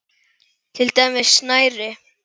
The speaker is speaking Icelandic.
Til dæmis snæri.